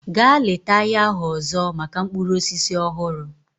Gaa leta ahịa ahụ ọzọ maka mkpụrụ osisi ọhụrụ!